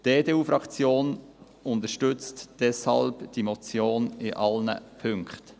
Die EDU-Fraktion unterstützt diese Motion deshalb in allen Punkten.